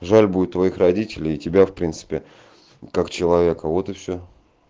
жаль будет твоих родителей тебя в принципе как человека вот и всё